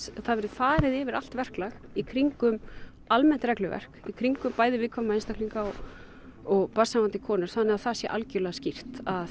það verði farið yfir allt verklag í kringum almennt regluverk í kringum bæði viðkvæma einstaklinga og barnshafandi konur þannig að það sé algjörlega skýrt að